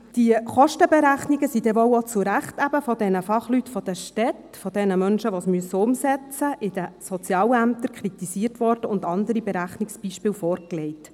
Die Kostenberechnungen wurden wohl auch zu Recht eben von den Fachleuten in den Städten kritisiert, von den Menschen, die es in den Sozialämtern umsetzen müssen, und andere Berechnungsbeispiele wurden vorgelegt.